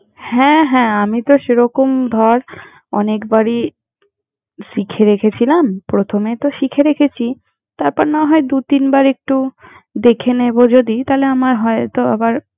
হ্যাঁ হ্যাঁ আমি তো সেরকম ধর অনেকবারই শিখে রেখেছিলাম, প্রথমে তো শিখে রেখেছি তারপর, না হয় দু-তিন বার একটু দেখে নেব যদি তাহলে আমার হয়তো আবার।